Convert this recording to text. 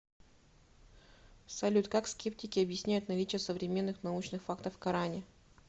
салют как скептики объясняют наличие современных научных фактов в коране